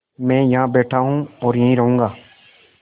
मैं यहाँ बैठा हूँ और यहीं रहूँगा